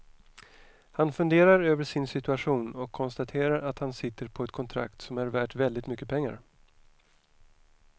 Han funderar över sin situation och konstaterar att han sitter på ett kontrakt som är värt väldigt mycket pengar.